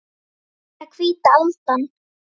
Það er hvíta aldan.